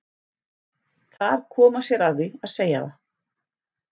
Þar kom hann sér að því að segja það.